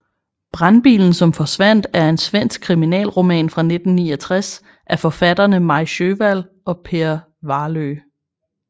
Brandbilen som forsvandt er en svensk kriminalroman fra 1969 af forfatterne Maj Sjöwall og Per Wahlöö